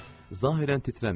Zahirən titrəmirdi.